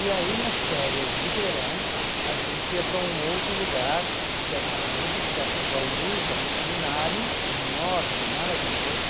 E aí, nas férias de verão, a gente ia para um outro lugar, que era em Agudos, perto de Bauru, que era um seminário enorme, maravilhoso.